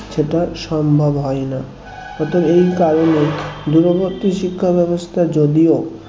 সেটা সম্ভব হয় না অতএব এই কারণে দূরবর্তী শিক্ষা ব্যবস্থার যদিও